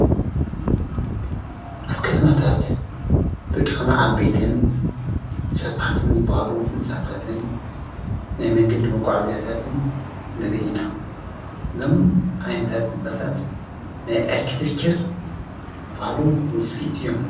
ኣብ ከተማታት ብጣማዓ ቤትን ሰፍሓትም ዘበሃሉ ሕንጻታትን ናይ መንገድ መጕዓእዚያታትን ንርኢና ዞም ኣኔንታት ሕንጻታት ናይ ኤርክትፍክር ዝበሃሉ ውፂት እዮም።